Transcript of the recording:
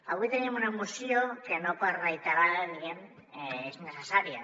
avui tenim una moció que no per reiterada diguem ne és innecessària